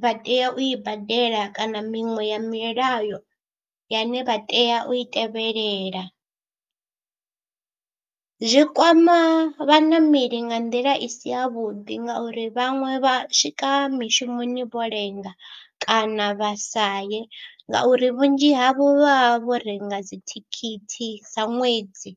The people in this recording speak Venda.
vha tea u i badela kana miṅwe ya milayo yane vha tea u i tevhelela, zwi kwama vhaṋameli nga nḓila i si yavhuḓi ngauri vhaṅwe vha swika mishumoni vho lenga kana vha sa ye ngauri vhunzhi havho vha vha vho renga dzithikhithi dza ṅwedzi.